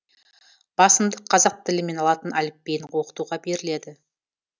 басымдық қазақ тілі мен латын әліпбиін оқытуға беріледі